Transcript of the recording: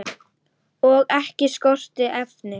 Og ekki skorti efni.